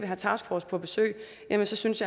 have taskforcen på besøg jamen så synes